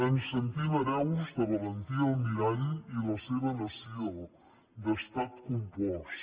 ens sentim hereus de valentí almirall i la seva noció d’estat compost